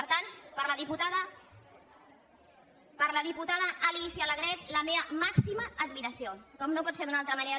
per tant per a la diputada alícia alegret la meva màxima admiració com no pot ser d’una altra manera